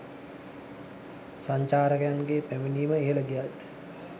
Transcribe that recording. සංචාරකයන්ගේ පැමිණීම ඉහල ගියත්